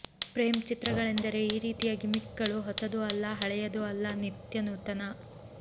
ಪ್ರೇಮ್ ಚಿತ್ರಗಳೆಂದರೆ ಈ ರೀತಿಯ ಗಿಮಿಕ್ಗಳು ಹೊಸದೂ ಅಲ್ಲ ಹಳೆಯದೂ ಅಲ್ಲ ನಿತ್ಯನೂತನ